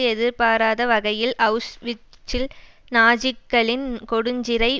எதிர்பாராத வகையில் அவுஸ்விட்சில் நாஜிக்களின் கொடுஞ்சிறை